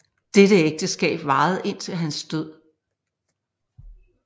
Dette ægteskab varede indtil hans død